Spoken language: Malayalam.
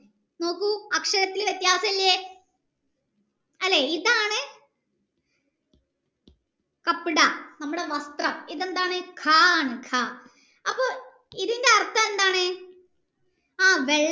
നോകു അക്ഷരത്തിൽ വ്യത്യാസില്ലേ അല്ലെ ഇതാണ് നമ്മുടെ വസ്ത്രം ഇതെന്താണ് ക ആണ് ക അപ്പൊ ഇതിന്റെ അർത്ഥം എന്താണ് ആ വെള്ള